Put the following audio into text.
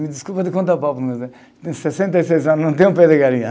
Me desculpe, tenho sessenta e seis anos e não tenho pé de galinha, hã